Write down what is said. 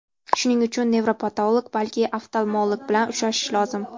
Shuning uchun nevropatolog, balki oftalmolog bilan uchrashish lozim.